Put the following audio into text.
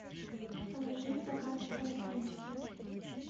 положи в заказ круассанчики